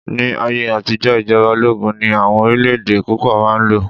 ní ayé àtijó ijoba ologun ni awọn orilẹ ede púpò ma n lo